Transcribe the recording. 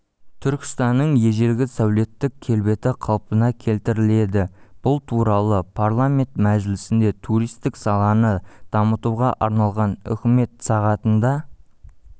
түркістанның ежелгі сәулеттік келбеті қалпына келтіріледі бұл туралы парламент мәжілісінде туристік саланы дамытуға арналған үкімет сағатында